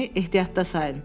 Məni ehtiyatda sayın.